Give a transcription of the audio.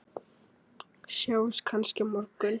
Sjáumst kannski á morgun!